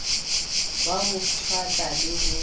ba ho pshatla le ho